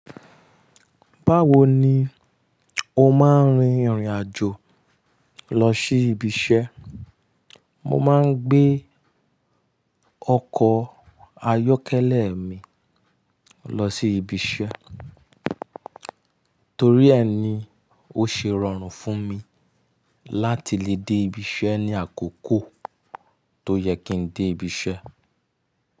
Báwo ni o máa ń rin ìrìn àjò lọ sí ibiṣẹ́? Mo máa ń gbé ọkọ̀ ayọ́kẹ́lẹ́ mi lọ sí ibiṣẹ́ torí ẹ ni ó ṣe rọrùn fún mi láti lè dé ibiṣẹ́ ní àkókò tó yẹ kí n dé ibiṣẹ́.